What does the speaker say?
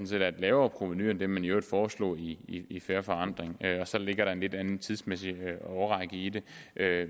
set er et lavere provenu end det man i øvrigt foreslog i i fair forandring og så ligger der en lidt anden tidsmæssig årrække i det